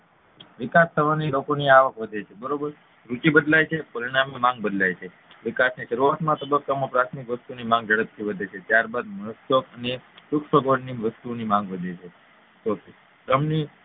વિકાસ થવાથી લોકોની અવાક વધે છે બરોબર નીતિ બદલાય છે પરિણામ ની માંગ બદલાય છે વિકાસની શરૂઆત ની તબક્કા માં પ્રાથમિક વસ્તુની માંગ ઝડપથી વધે છે ત્યારબાદ મોજશોખ અને સુખસગવડ ની વસ્તુઓની માંગ વધે છે ચોથું ક્રમની